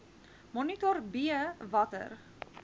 monitor b watter